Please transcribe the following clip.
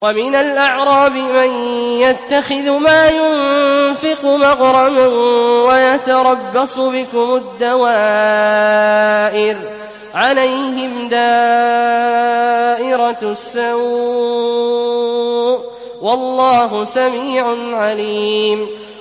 وَمِنَ الْأَعْرَابِ مَن يَتَّخِذُ مَا يُنفِقُ مَغْرَمًا وَيَتَرَبَّصُ بِكُمُ الدَّوَائِرَ ۚ عَلَيْهِمْ دَائِرَةُ السَّوْءِ ۗ وَاللَّهُ سَمِيعٌ عَلِيمٌ